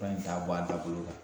Fura in t'a bɔ a da bolo